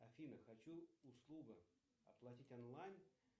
афина хочу услуга оплатить онлайн